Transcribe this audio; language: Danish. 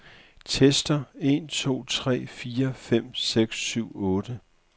Tester en to tre fire fem seks syv otte.